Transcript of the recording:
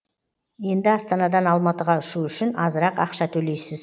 енді астанадан алматыға ұшу үшін азырақ ақша төлейсіз